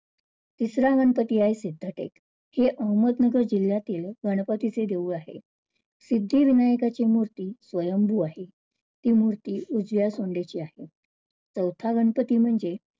तिसरा गणपती आहे सिध्दटेक, हे अहमदनगर जिल्ह्यातील गणपतीचे देऊळ आहे. सिद्धिविनायकाची मूर्ती स्वभू आहे ती मूर्ती उजव्या सोंडीची आहे. चवथा गणपती म्हणजे